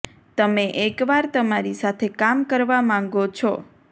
તમે એક વાર તમારી સાથે કામ કરવા માંગો છો